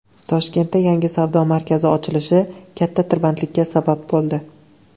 Toshkentda yangi savdo markazi ochilishi katta tirbandlikka sabab bo‘ldi.